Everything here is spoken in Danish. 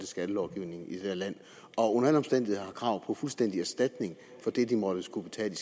skattelovgivningen i det her land og under alle omstændigheder har krav på fuldstændig erstatning for det de måtte skulle betale